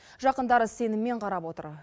жақындары сеніммен қарап отыр